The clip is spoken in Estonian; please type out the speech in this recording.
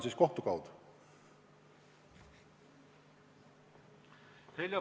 Heljo Pikhof, palun!